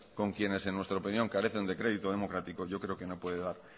con quienes en nuestra opinión carecen de crédito democrático yo creo que no puede dar